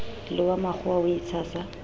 le wa makgowa o itshasa